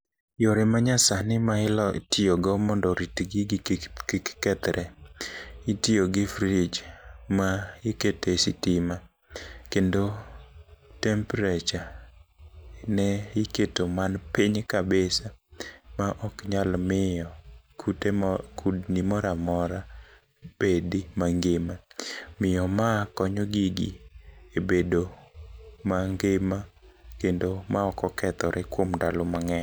Yore manya sani ma inyalo tiyo go mondo orit gigi kik kethre itiyo gi fridge ma ikete sitima kendo tempreture ne iketo man piny kabisa ma ok nyal miyo kute kudni moramora bedi mangima. Omiyo ma konyo gigi e bedo mangima kendo ma ok okethore kuom ndalo mang'eny.